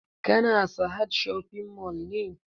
Ka na sahad shopping mall ne?